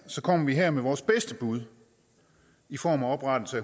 kommer vi her med vores bedste bud i form af oprettelse